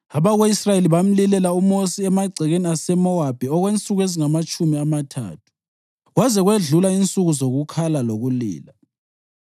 Abako-Israyeli bamlilela uMosi emagcekeni aseMowabi okwensuku ezingamatshumi amathathu, kwaze kwedlula insuku zokukhala lokulila.